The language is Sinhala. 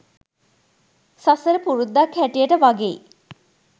සසර පුරුද්දක් හැටියට වගෙයි.